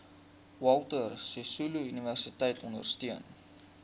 walter sisuluuniversiteit ondersteun